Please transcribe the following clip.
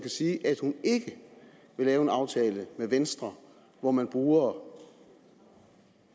sige at hun ikke vil lave en aftale med venstre hvor man bruger